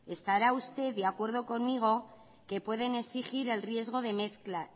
estará usted de acuerdo conmigo que pueden exigir el riesgo de mezcla